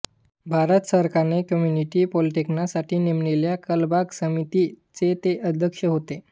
भारत सरकारने कम्युनिटी पॉलिटेक्निकसाठी नेमलेल्या कलबाग समिती चे ते अध्यक्ष होते